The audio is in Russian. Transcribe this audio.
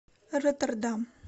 роттердам